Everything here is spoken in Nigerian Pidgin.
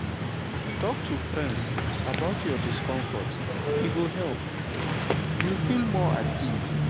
talk to friends about your discomfort e go help you feel more at ease.